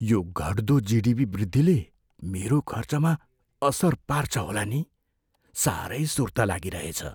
यो घट्दो जिडिपी वृद्धिले मेरो खर्चमा असर पार्छ होला नि। साह्रै सुर्ता लागिरहेछ।